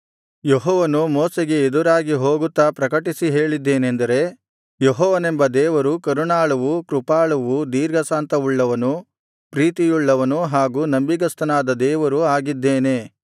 ಯೆಹೋವನು ಮೋಶೆಗೆ ಎದುರಾಗಿ ಹೋಗುತ್ತಾ ಪ್ರಕಟಿಸಿ ಹೇಳಿದ್ದೇನೆಂದರೆ ಯೆಹೋವನೆಂಬ ದೇವರು ಕರುಣಾಳುವು ಕೃಪಾಳುವು ದೀರ್ಘಶಾಂತವುಳ್ಳವನು ಪ್ರೀತಿಯುಳ್ಳವನು ಹಾಗು ನಂಬಿಗಸ್ತನಾದ ದೇವರು ಆಗಿದ್ದೇನೆ